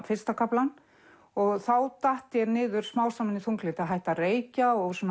fyrsta kaflann og þá datt ég niður smám saman í þunglyndi hætti að reykja og